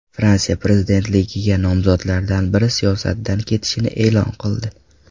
Fransiya prezidentligiga nomzodlardan biri siyosatdan ketishini e’lon qildi.